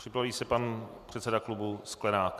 Připraví se pan předseda klubu Sklenák.